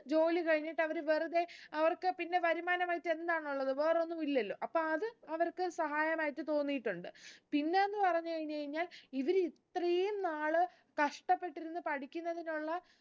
ജോലി കഴിഞ്ഞിട്ട് അവര് വെറുതെ അവർക്ക് പിന്നെ വരുമാനമായിട്ട് എന്താണ് ഉള്ളത് വേറൊന്നുമില്ലല്ലോ അപ്പൊ അത് അവർക്ക് സഹായമായിട്ട് തോന്നീട്ടുണ്ട് പിഞ്ഞാന്ന് പറഞ്ഞ് കഴിഞ്ഞഴിഞ്ഞാൽ ഇവര് ഇത്രയും നാള് കഷ്ട്ടപ്പെട്ടിരുന്ന് പഠിക്കുന്നതിനുള്ള